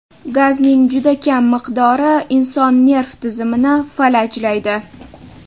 Gazning juda kam miqdori inson nerv tizimini falajlaydi.